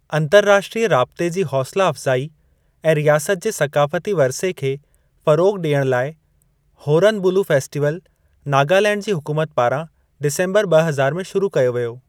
अंतर्राष्ट्रीय राबिते जी हौसला अफ़्ज़ाई ऐं रियासत जे सक़ाफ़ती वरिसे खे फ़रोग़ ॾियणु लाइ होरन बुलु फेस्टीवल नागालैंड जी हुकूमत पारां डिसम्बरु ब॒ हज़ार में शुरू कयो वियो।